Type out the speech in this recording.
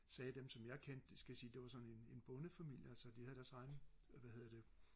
sagde dem som jeg kendte det skal jeg lige sige det var sådan en en bonde familie altså de havde deres egen hvad hedder det